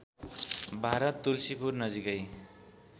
भारत तुल्सीपुर नजिकै